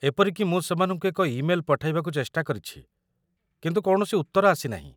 ଏପରିକି ମୁଁ ସେମାନଙ୍କୁ ଏକ ଇମେଲ୍‌ ପଠାଇବାକୁ ଚେଷ୍ଟା କରିଛି କିନ୍ତୁ କୌଣସି ଉତ୍ତର ଆସି ନାହିଁ।